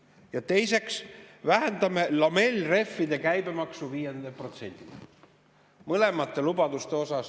" Ja teiseks: "Vähendame lamellrehvide käibemaksu 5%-le.